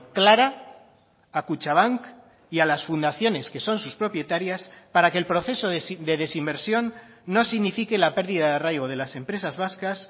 clara a kutxabank y a las fundaciones que son sus propietarias para que el proceso de desinversión no signifique la pérdida de arraigo de las empresas vascas